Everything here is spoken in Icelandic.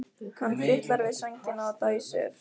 Hann fitlar við sængina og dæsir.